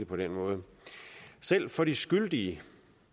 på den måde selv for de skyldige